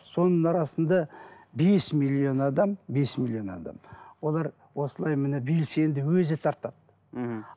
соның арасында бес миллион адам бес миллион адам олар осылай міне белсенді өзі тартады мхм